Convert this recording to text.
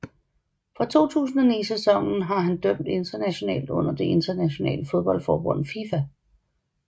Fra 2009 sæsonen har han dømt internationalt under det internationale fodboldforbund FIFA